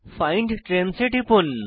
find trains এ টিপুন